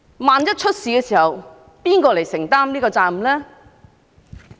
萬一發生事故，由誰承擔責任呢？